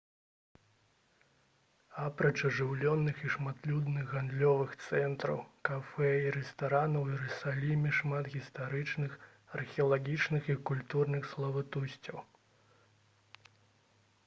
апроч ажыўленых і шматлюдных гандлёвых цэнтраў кафэ і рэстаранаў у іерусаліме шмат гістарычных археалагічных і культурных славутасцяў